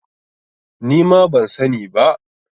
Nima ban sa ni ba